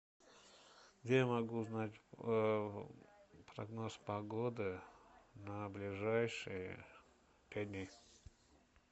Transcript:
где я могу узнать прогноз погоды на ближайшие пять дней